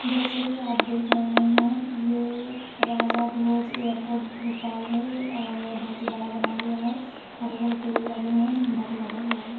जैसे कि आप देख रहे हैं ये राजा भोज एयरपोर्ट भोपाल है और बहोत ही बड़ा बना हुआ है। हरे भरे पेड़ भी लगे हुए हैं। झंडा भी लगा हुआ है।